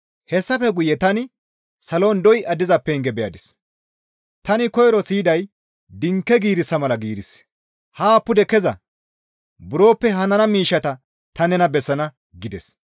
Hessafe guye tani salon doya diza penge beyadis; tani koyro siyiday dinke giirissa mala giirissi, «Haa pude keza; buroppe hanana miishshata ta nena bessana» gides.